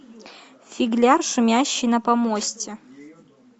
фигляр шумящий на помосте